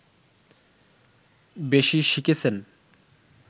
বেশি শিখেছেন